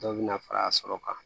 Dɔw bɛ na fara kan